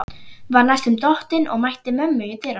Var næstum dottinn og mætti mömmu í dyrunum.